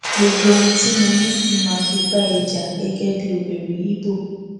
gbogbo ohun tí mo ní ni mà á fi bá ẹ jà gẹgẹ bíi obìnrin ibo